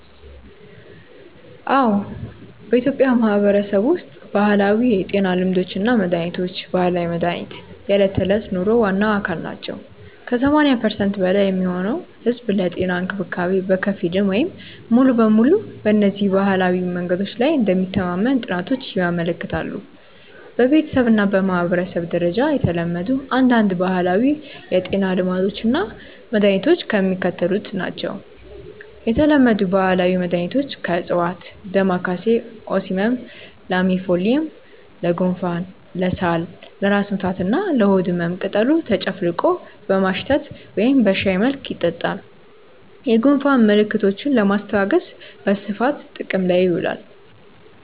አዎ፣ በኢትዮጵያ ማህበረሰብ ውስጥ ባህላዊ የጤና ልማዶች እና መድሃኒቶች (ባህላዊ መድሃኒት) የዕለት ተዕለት ኑሮ ዋና አካል ናቸው። ከ80% በላይ የሚሆነው ህዝብ ለጤና እንክብካቤ በከፊል ወይም ሙሉ በሙሉ በእነዚህ ባህላዊ መንገዶች ላይ እንደሚተማመን ጥናቶች ያመለክታሉ። በቤተሰብ እና በማህበረሰብ ደረጃ የተለመዱ አንዳንድ ባህላዊ የጤና ልማዶች እና መድኃኒቶች የሚከተሉት ናቸው የተለመዱ ባህላዊ መድኃኒቶች (ከዕፅዋት) ደማካሴ (Ocimum lamiifolium): ለጉንፋን፣ ለሳል፣ ለራስ ምታት እና ለሆድ ህመም ቅጠሉ ተጨፍልቆ በማሽተት ወይም በሻይ መልክ ይጠጣል። የጉንፋን ምልክቶችን ለማስታገስ በስፋት ጥቅም ላይ ይውላል።